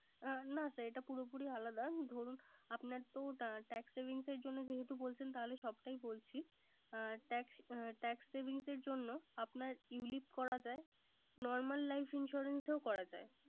অ না sir এটা পুরোপুরি আলাদা। দরুন আপনার তো Tax savings এর জন্য েযেহেতু বলছেন। তাহলে সবটাই বলছি। Tax savings এজন্য আপনার ulip করা যায় normal life insurance ও করা যায়